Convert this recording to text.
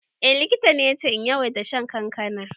Eh, likita ne yace in yawaita shan kankana.